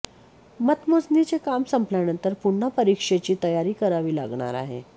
मतमोजणीचे काम संपल्यानंतर पुन्हा परीक्षेची तयारी करावी लागणार आहे